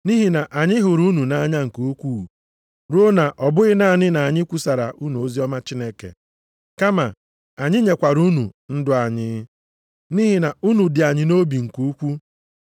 Nʼihi na anyị hụrụ unu nʼanya nke ukwuu ruo na ọ bụghị naanị na anyị kwusaara unu oziọma Chineke kama anyị nyekwara unu ndụ anyị. Nʼihi na unu dị anyị nʼobi nke ukwu.